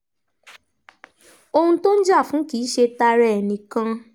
ohun tó ń jà fún kì í ṣe tara ẹ̀ nìkan